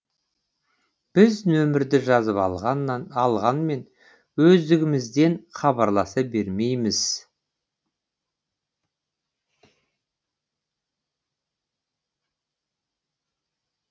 біз нөмірді жазып алғанмен өздігімізден хабарласа бермейміз